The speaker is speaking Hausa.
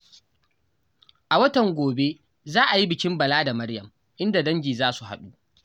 A watan gobe za a yi bikin Bala da Maryam, inda dangi za su haɗu.